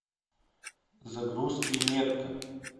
загрузки метка